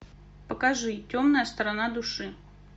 покажи темная сторона души